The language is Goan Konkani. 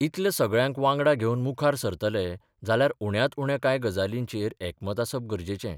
इतल्या सगळ्यांक वांगडा घेवन मुखार सरतले जाल्यार उण्यांत उण्या कांय गजालींचेर एकमत आसप गरजेचें.